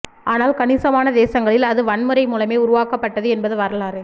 ஆனால் கணிசமான தேசங்களில் அது வன்முறை மூலமே உருவாக்கப்பட்டது என்பது வரலாறு